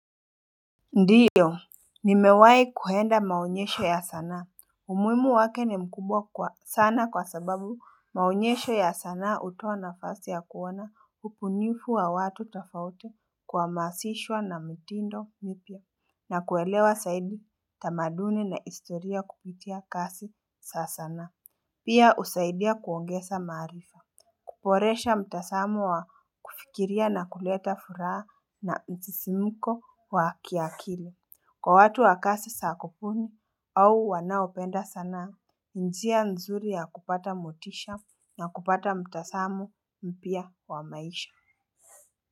Ndiyo ni mewai kuhenda maonyesho ya sanaa. Umuhimu wake ni mkubwa sana kwa sababu maonyesho ya sanaa hutoa na fasi ya kuoana upunifu wa watu tofauti kuha masishwa na mtindo mipya. Na kuelewa saidi tamaduni na historia kupitia kasi sa sanaa. Pia usaidia kuongesa maarifa. Kuporesha mtasamo wa kufikiria na kuleta furaha na msisimiko wa kiakili. Kwa watu wakasi sakupuni au wanaopenda sanaa, njia nzuri ya kupata motisha na kupata mtasamu mpia wa maisha.